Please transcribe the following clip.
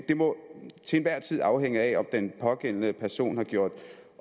det må til enhver tid afhænge af om den pågældende person har gjort